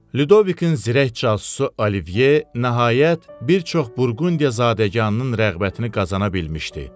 Lüdovikin zirək casusu Olivye, nəhayət, bir çox Burqundiyazadəganının rəğbətini qazana bilmişdi.